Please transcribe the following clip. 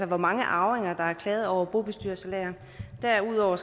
hvor mange arvinger der har klaget over bobestyrersalærer derudover